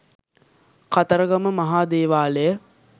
කතරගම මහා දේවාලයයි.